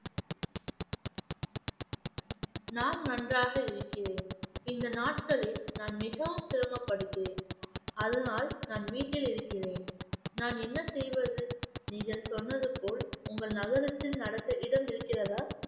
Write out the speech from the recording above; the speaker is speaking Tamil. நான் நன்றாக இருக்கிறேன் இந்த நாட்களில் நான் மிகவும் சிரமப்படுகிறேன். அதனால் நான் வீட்டில் இருக்கிறேன் நான் என்ன செய்வது நீங்கள் சொன்னது போல் உங்கள் நகரத்தில் நடக்க இடம் இருக்கிறதா?